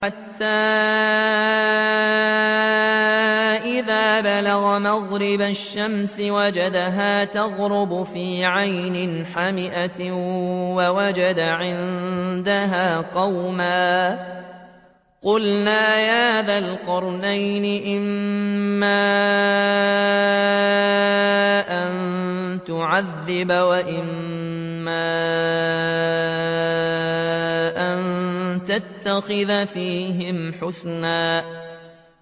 حَتَّىٰ إِذَا بَلَغَ مَغْرِبَ الشَّمْسِ وَجَدَهَا تَغْرُبُ فِي عَيْنٍ حَمِئَةٍ وَوَجَدَ عِندَهَا قَوْمًا ۗ قُلْنَا يَا ذَا الْقَرْنَيْنِ إِمَّا أَن تُعَذِّبَ وَإِمَّا أَن تَتَّخِذَ فِيهِمْ حُسْنًا